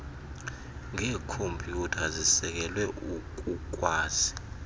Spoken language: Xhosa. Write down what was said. ngeekhompyutha zisekelwe ukukwazi